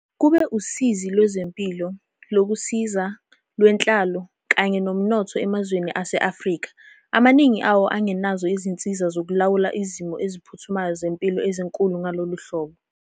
Kube usizi lwezempilo, lokusiza, lwenhlalo kanye nomnotho emazweni ase-Afrika, amaningi awo angenazo izinsiza zokulawula izimo eziphuthumayo zempilo ezinkulu ngalolu hlobo.